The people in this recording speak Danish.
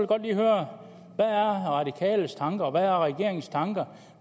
godt lige høre hvad er radikales tanker og hvad er regeringens tanker